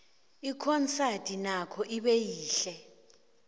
ikhonsadi nokho ibe yihle